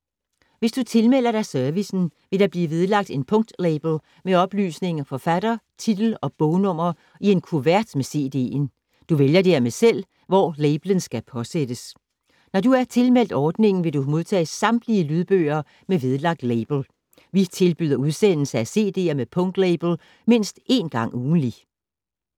Hvis du tilmelder dig servicen, vil der blive vedlagt en punktlabel med oplysning om forfatter, titel og bognummer i kuverten med cd’en. Du vælger dermed selv, hvor labelen skal påsættes. Når du er tilmeldt ordningen, vil du modtage samtlige lydbøger med vedlagt label. Vi tilbyder udsendelse af cd’er med punktlabel mindst én gang ugentlig.